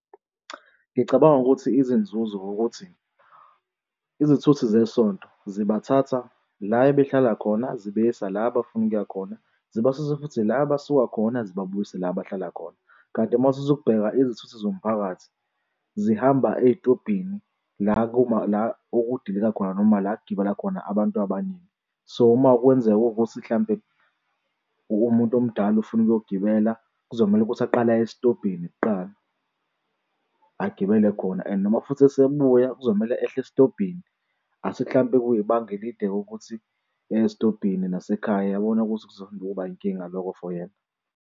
Ngicabanga ukuthi izinzuzo ukuthi izithuthi zesonto zibathatha la ebehlala khona zibayisa la abafuna ukuya khona. Zibasuse futhi la abasuka khona zibabuyise la abahlala khona. Kanti uma uthatha ukubheka izithuthi zomphakathi zihamba ey'tobhini la kuma la okudilika khona noma la ukugibela khona abantu abaningi. So uma kwenzeka ukuthi mhlampe umuntu omdala ofuna ukuyogibela, kuzomele ukuthi baqale aye esitobhini kuqala agibele khona and noma futhi esebuya kuzomele ehle esitobhini asithi mhlampe kuyibanga elide ukuthi esitobhini nasekhaya uyabona ukuthi kuzohamba kube inkinga loko for yena?